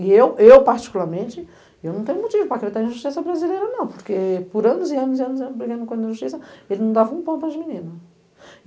E eu, eu particularmente, eu não tenho motivo para acreditar em justiça brasileira não, porque por anos e anos e anos, brigando com a justiça, ele não dava um pão para as meninas.